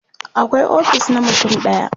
akwai ofis na mutum ɗaya